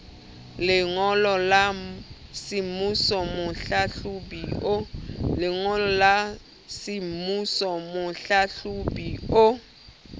lengolo la semmuso mohlahlobi o